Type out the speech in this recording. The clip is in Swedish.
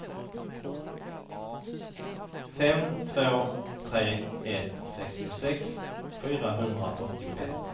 fem två tre ett sextiosex fyrahundraåttioett